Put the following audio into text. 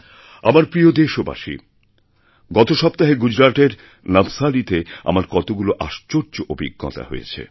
আমার প্রিয় দেশবাসী গত সপ্তাহেগুজরাতের নবসারীতে আমার কতগুলো আশ্চর্য অভিজ্ঞতা হয়েছে